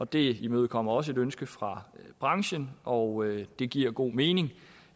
det imødekommer også et ønske fra branchen og det giver god mening